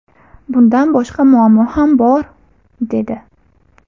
Bundan boshqa muammo ham bor”, - dedi.